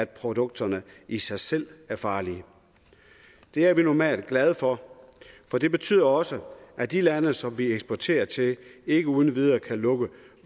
produkterne i sig selv er farlige det er vi normalt glade for for det betyder også at de lande som vi eksporterer til ikke uden videre kan lukke